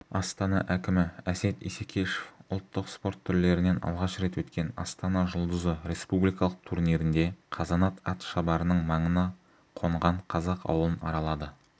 астана әкімі әсет исекешев ұлттық спорт түрлерінен алғаш рет өткен астана жұлдызы республикалық турнирінде қазанат атшабарының маңына қонған қазақ ауылын аралады